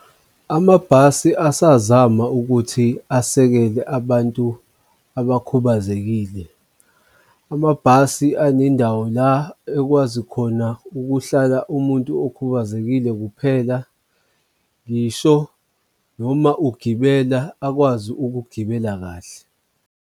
Amabhasi asasazama ukuthi asekele abantu abakhubazekile. Amabhasi anendawo la ekwazi khona ukuhlala umuntu okhubazekile kuphela, ngisho noma ugibela akwazi ukugibela kahle.